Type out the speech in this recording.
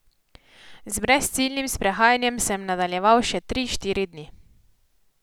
Z brezciljnim sprehajanjem sem nadaljeval še tri, štiri dni.